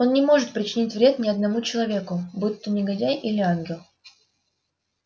он не может причинить вред ни одному человеку будь то негодяй или ангел